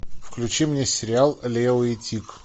включи мне сериал лео и тиг